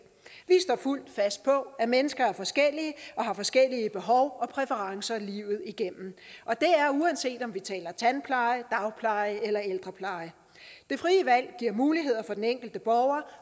vi står fuldt fast på at mennesker er forskellige og har forskellige behov og præferencer livet igennem og det er uanset om vi taler tandpleje dagpleje eller ældrepleje det frie valg giver muligheder for den enkelte borger